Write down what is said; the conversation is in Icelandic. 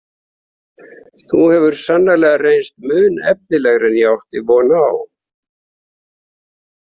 Þú hefur sannarlega reynst mun efnilegri en ég átti von á.